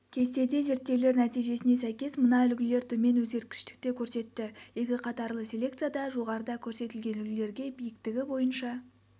кестеде зерттеулер нәтижесіне сәйкес мына үлгілер төмен өзгергіштікті көрсетті екіқатарлы селекцияда жоғарыда көрсетілген үлгілерге биіктігі бойынша